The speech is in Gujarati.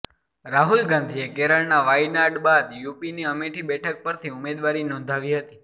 રાહુલ ગાંધીએ કેરળના વાયનાડ બાદ યુપીની અમેઠી બેઠક પરથી ઉમેદવારી નોંધાવી હતી